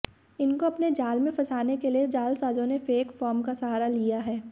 इनको अपने जाल में फंसाने के लिए जालसाजों ने फेक फार्म का सहारा लिया है